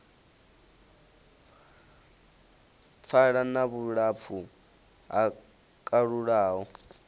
pfala na vhulapfu ho kalulaho